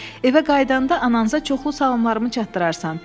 “Evə qayıdanda ananıza çoxlu salamlarımı çatdırarsan.